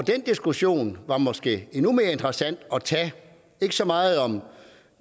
den diskussion var måske endnu mere interessant at tage ikke så meget om